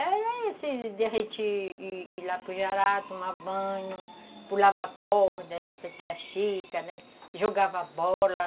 Era assim, de a gente ir lá para o jará tomar banho, pulava corda, essa tia Chica, né, jogava bola.